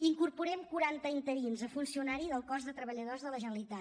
incorporem quaranta interins a funcionari del cos de treballadors de la generalitat